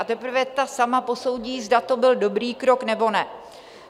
A teprve ta sama posoudí, zda to byl dobrý krok, nebo ne.